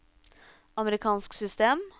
amerikansk system